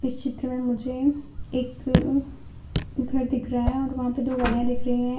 चित्र में मुझे एक घर दिख रहा है और वहां पे दो गाड़ियां दिख रही हैं।